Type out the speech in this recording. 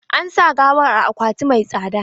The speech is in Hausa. An sa gawar a akwati mai tsada.